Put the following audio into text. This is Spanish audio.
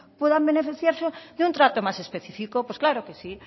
puedan beneficiarse de un trato más específico pues claro que sí